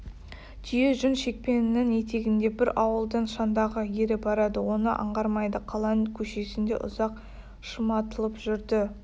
түйе жүн шекпенінің етегінде бір ауылдың шаңдағы ере барады оны аңғармайды қаланың көшесінде ұзақ шырматылып жүрді